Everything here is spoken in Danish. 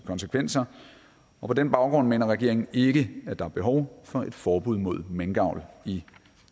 konsekvenser og på den baggrund mener regeringen ikke at der er behov for et forbud mod minkavl i